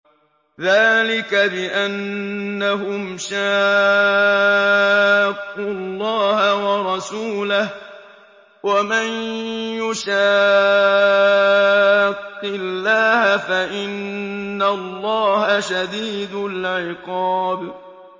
ذَٰلِكَ بِأَنَّهُمْ شَاقُّوا اللَّهَ وَرَسُولَهُ ۖ وَمَن يُشَاقِّ اللَّهَ فَإِنَّ اللَّهَ شَدِيدُ الْعِقَابِ